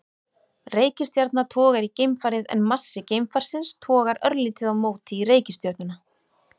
Reikistjarna togar í geimfarið en massi geimfarsins togar örlítið á móti í reikistjörnuna.